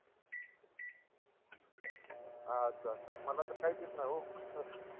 अच्छा अच्छा मला तर काहीच येत नाही हो